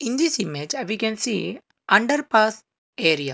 in this image a we can see underpass area.